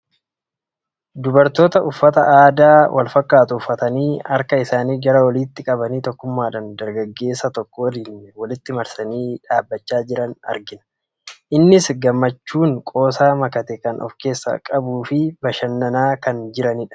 Dubartoota uffata aadaa wal fakkaatu uffatanii, harka isaanii gara oliitti qabanii tokkummaadhaan dargaggeessa tokko waliin walitti marsanii dhaabachaa jiran argina. Innis gammachuu qoosaa makate kan of keessaa qabuu fi bashannanaa kan jiranidha.